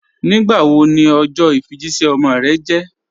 Nígbàwó ní ọjọ ifíjìṣẹ̀ ọmọ rẹ̀ jẹ̀?